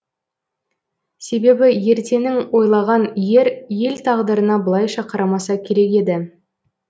себебі ертеңін ойлаған ер ел тағдырына былайша қарамаса керек еді